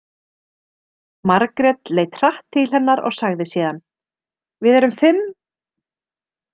Margrét leit hratt til hennar og sagði síðan: Við erum fimm.